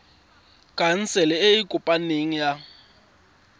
khansele e e kopaneng ya